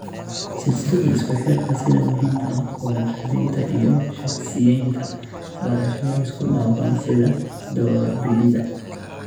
Silsilada isku xirka sida muhiimka ah Co - naqshadeynta iyo shaqsiyeynta, barashada isku dhafan sida doorbidida